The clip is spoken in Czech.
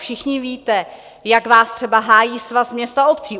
Všichni víte, jak vás třeba hájí Svaz měst a obcí.